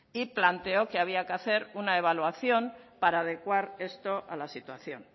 y planteó que había que hacer una evaluación para adecuar esto a la situación